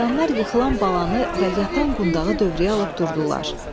Ceyranlar yıxılan balanı və yatan qundağı dövrəyə alıb durdular.